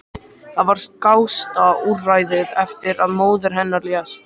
Það var skásta úrræðið eftir að móðir hennar lést.